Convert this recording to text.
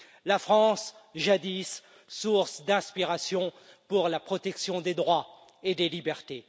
La France, jadis source d'inspiration pour la protection des droits et des libertés.